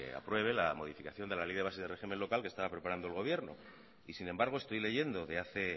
apruebe la modificación de la ley de bases de régimen local que estaba preparando el gobierno y sin embargo estoy leyendo de hace